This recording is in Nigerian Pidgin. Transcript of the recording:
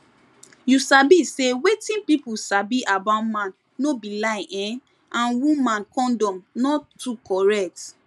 you sabi say wetin pipu sabi about man no be lie[um]and woman condom not too correct